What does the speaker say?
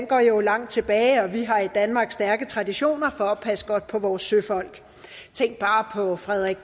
går jo langt tilbage og vi har i danmark stærke traditioner for at passe godt på vores søfolk tænk bare på frederik